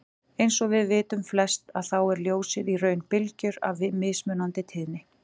Eins og við vitum flest að þá er ljósið í raun bylgjur af mismunandi tíðni.